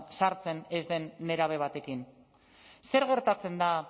sartzen ez den nerabe batekin zer gertatzen da